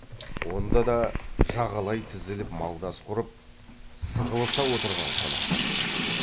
онда да жағалай тізіліп малдас құрып сығылыса отырған қонақтар екен